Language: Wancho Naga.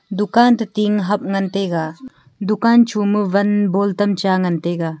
dukan to ting hap ngantaiga dukan choma van ball tam cha ngantaiga.